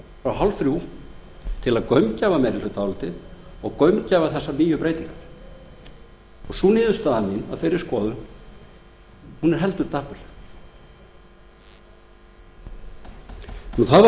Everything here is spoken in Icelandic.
frá hálfþrjú til að gaumgæfa meirihlutaálitið og gaumgæfa þessar nýju breytingar sú niðurstaða mín af þeirri skoðun er heldur dapurleg